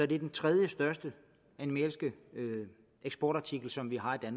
det er den tredjestørste animalske eksportartikel som vi har i